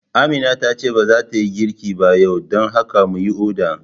Amina tace ba zata yi girki ba yau, dan haka mu yi oda